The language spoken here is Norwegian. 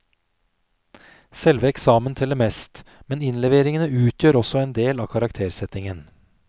Selve eksamen teller mest, men innleveringene utgjør også en del av karaktersettingen.